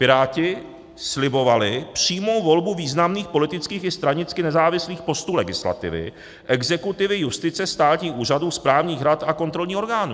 Piráti slibovali přímou volbu významných politických i stranicky nezávislých postů legislativy, exekutivy, justice, státních úřadů, správních rad a kontrolních orgánů.